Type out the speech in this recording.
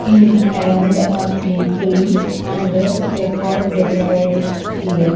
In around a people and the car decorate here.